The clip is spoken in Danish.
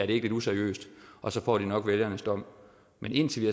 det ikke lidt useriøst og så får de nok vælgernes dom men indtil vi